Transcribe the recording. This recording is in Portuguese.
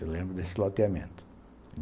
Eu lembro desse loteamento.